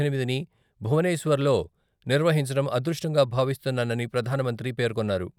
పద్దెనిమిదిని భువనేశ్వర్లో నిర్వహించడం అదృష్టంగా భావిస్తున్నానని ప్రధానమంత్రి పేర్కొన్నారు.